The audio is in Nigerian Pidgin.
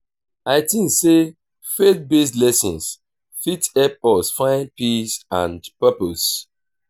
i tink sey faith-based lessons fit help us find peace and purpose